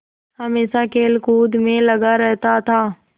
हमेशा खेलकूद में लगा रहता था